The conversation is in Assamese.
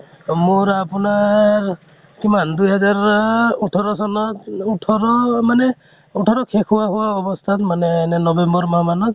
মোৰ আপোনাৰ কিমান দুইহাজাৰ ওঠৰ চনত ওঠৰ মানে ওঠৰ শেষ হোৱা হোৱা অৱস্থাত মানে november মাহ মানত